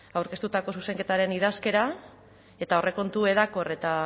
aurkeztutako zuzenketaren idazkera eta aurrekontu hedakor eta